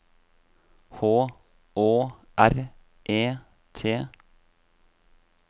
H Å R E T